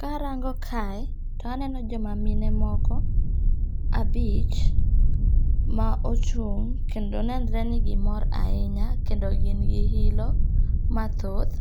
Karango'kae, to aneno joma mine moko abich ma ochung' kendo nenre ni gimor ahinya kendo gin gi hilo mathoth,